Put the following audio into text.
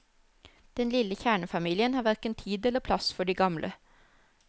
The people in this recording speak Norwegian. Den lille kjernefamilien har hverken tid eller plass for de gamle.